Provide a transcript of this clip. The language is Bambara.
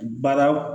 Baara